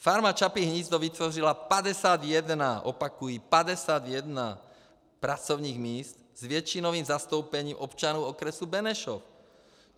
Farma Čapí hnízdo vytvořila 51 - opakuji - 51 pracovních míst s většinovým zastoupením občanů okresu Benešov.